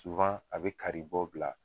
a bi kari bɔ bila